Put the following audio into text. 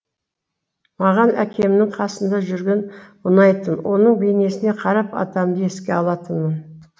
маған әкемнің қасында жүрген ұнайтын оның бейнесіне қарап атамды еске алатынмын